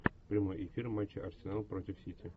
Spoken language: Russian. прямой эфир матч арсенал против сити